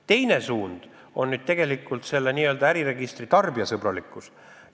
Teine suund on äriregistri tarbijasõbralikkus.